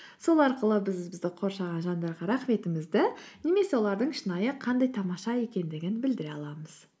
сол арқылы біз бізді қоршаған жандарға рахметімізді немесе олардың шынайы қандай тамаша екендігін білдіре аламыз